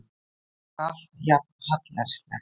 Þetta var allt jafn hallærislegt.